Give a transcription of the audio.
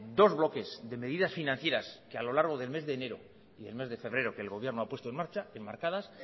dos bloques de medidas financieras que a lo largo del mes de enero y del mes de febrero que el gobierno ha puesto en marcha enmarcadas